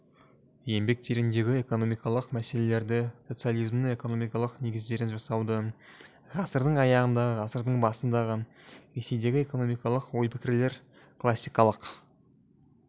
еңбектеріндегі экономикалық мәселелрді социализмнің экономикалық негіздерін жасауды ғасырдың аяғындағы ғасырдың басындағы ресейдегі экономикалық ой-пікірлер классикалық